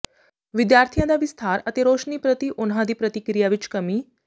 ਵਿਦਿਆਰਥੀਆਂ ਦਾ ਵਿਸਥਾਰ ਅਤੇ ਰੋਸ਼ਨੀ ਪ੍ਰਤੀ ਉਨ੍ਹਾਂ ਦੀ ਪ੍ਰਤੀਕਿਰਿਆ ਵਿੱਚ ਕਮੀ